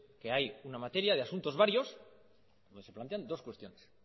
que hay una materia de asuntos varios donde se plantean dos cuestiones